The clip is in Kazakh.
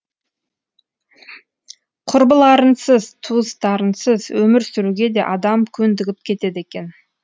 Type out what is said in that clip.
құрбыларынсыз туыстарынсыз өмір сүруге де адам көндігіп кетеді екен